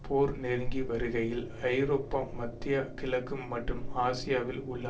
போர் நெருங்கி வருகையில் ஐரோப்பா மத்திய கிழக்கு மற்றும் ஆசியாவில் உள்ள